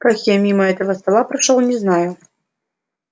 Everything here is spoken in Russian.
как я мимо этого стола прошёл не знаю